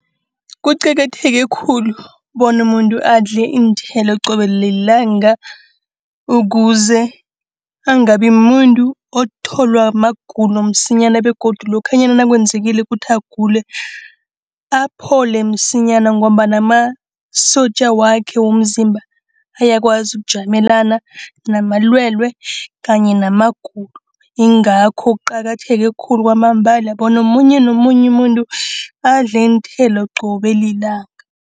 Kuqakatheke khulu bona umuntu adle iinthelo qobe lilanga. Ukuze angabi mumuntu otholwa magulo msinyana begodu lokhanyana nakwenzekile ukuthi agule, aphole msinyana. Ngombana amasotja wakhe womzimba ayakwazi ukujamelana namalwele kanye namagulo. Ingakho kuqakatheke khulu kwamambala bona omunye nomunye umuntu adle iinthelo qobe lilanga.